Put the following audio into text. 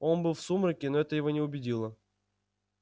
он был в сумраке но это его не убедило